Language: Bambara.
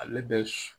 Ale bɛ